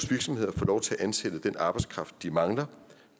virksomheder får lov til at ansætte den arbejdskraft de mangler